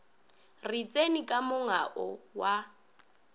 re tseni ka monga wa